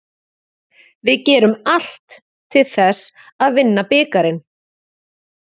Við gerum allt til þess að vinna bikarinn.